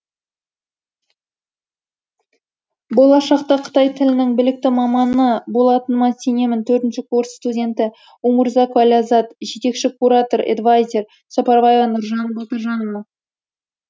болашақта қытай тілінің білікті маманы болатыныма сенемін төртінші курс студенті умурзакова ләззатжетекші куратор эдвайзер сапарбаева нуржан балтажановна